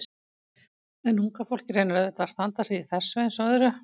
En unga fólkið reynir auðvitað að standa sig í þessu eins og öðru.